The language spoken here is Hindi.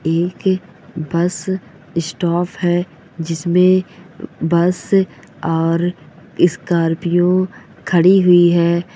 एक बस स्टॉप है जिसमे बस और स्कार्पियो खड़ी हुई है ।